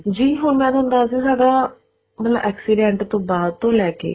ਜੀ ਹੁਣ ਮੈਂ ਥੋਨੂੰ ਦੱਸ ਦੀ ਹਾਂ ਮਤਲਬ accident ਤੋਂ ਬਾਅਦ ਤੋਂ ਲੇਕੇ